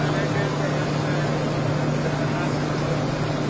Gəl, gəl, gəl, gəl, gəl.